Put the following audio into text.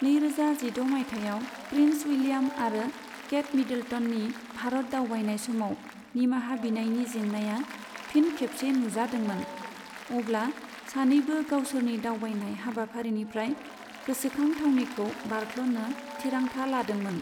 नैरोजा जिद' मायथाइआव प्रिन्स उइलियाम आरो केट मिड्लटननि भारत दावबायनाय समाव निमाहा बिनायनि जेंनाया फिन खेबसे नुजादोंमोन, अब्ला सानैबो गावसोरनि दावबायनाय हाबाफारिनिफ्राय गोसोखां थावनिखौ बारख्ल'नो थिरांथा लादोंमोन।